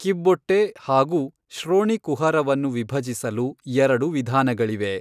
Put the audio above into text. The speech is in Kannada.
ಕಿಬ್ಬೊಟ್ಟೆ ಹಾಗೂ ಶ್ರೋಣಿ ಕುಹರವನ್ನು ವಿಭಜಿಸಲು ಎರಡು ವಿಧಾನಗಳಿವೆ.